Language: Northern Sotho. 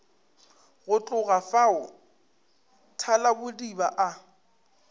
go tloga fao thalabodiba a